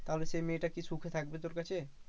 তাহলে সেই মেয়েটা কি সুখে থাকবে তোর কাছে?